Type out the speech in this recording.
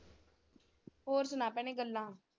ਹੋਰ ਸੁਣਾ ਭੈਣੇ ਗੱਲਾਂ।